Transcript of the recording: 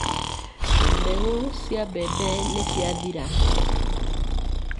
Mbegũ cia mbembe nĩ ciathira.